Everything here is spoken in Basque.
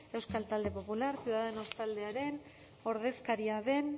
euskal talde popular ciudadanos taldearen ordezkaria den